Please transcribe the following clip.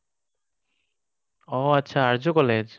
অ, আচ্ছা, আৰ্য্য কলেজ?